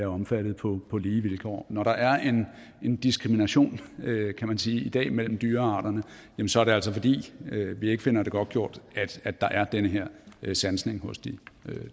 omfattet på lige vilkår når der er en diskrimination kan man sige i dag mellem dyrearterne så er det altså fordi vi ikke finder det godtgjort at der er den her sansning hos de